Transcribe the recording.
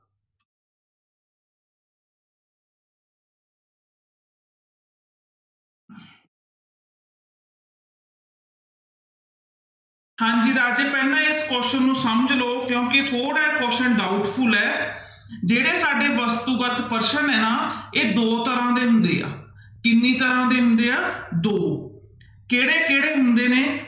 ਹਾਂਜੀ ਰਾਜੇ ਪਹਿਲਾਂ ਇਸ question ਨੂੰ ਸਮਝ ਲਓ ਕਿਉਂਕਿ ਥੋੜ੍ਹਾ ਇਹ question doubtful ਹੈ ਜਿਹੜੇ ਸਾਡੇ ਵਸਤੂਗਤ ਪ੍ਰਸ਼ਨ ਹੈ ਨਾ, ਇਹ ਦੋ ਤਰ੍ਹਾਂ ਦੇ ਹੁੰਦੇ ਆ ਕਿੰਨੀ ਤਰ੍ਹਾਂ ਦੇ ਹੁੰਦੇ ਆ ਦੋ, ਕਿਹੜੇ ਕਿਹੜੇ ਹੁੰਦੇ ਨੇ?